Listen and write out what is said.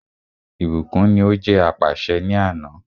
Ìbùkún ní o jẹ́ apàṣẹ ni àná.